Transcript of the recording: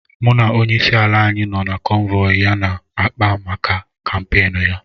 Mụ na onyeisi ala anyị nọ na kọ́nvọyi ya na akpá maka kàmpéénu ya